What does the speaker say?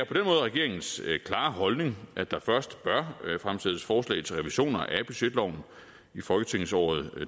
regeringens klare holdning at der først bør fremsættes forslag til revisioner af budgetloven i folketingsåret